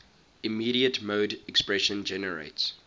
immediate mode expression generates